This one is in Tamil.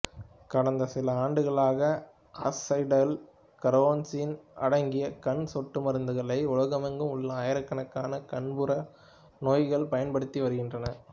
கடந்த சில ஆண்டுகளாக அசிடைல் கார்னோசின் அடங்கிய கண் சொட்டுமருந்துகளை உலகெங்கும் உள்ள ஆயிரக்கணக்கான கண்புரை நோயாளிகள் பயன்படுத்தி வருகின்றனர்